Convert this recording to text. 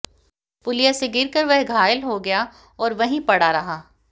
पुलिया से गिरकर वह घायल हो गया और वहीं पड़ा रहा